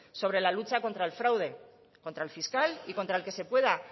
sobre la lucha contra el fraude contra el fiscal y contra el que se pueda